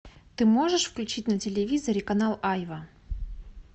ты можешь включить на телевизоре канал айва